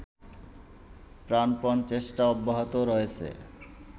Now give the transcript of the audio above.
প্রাণপণ চেষ্টা অব্যাহত রয়েছে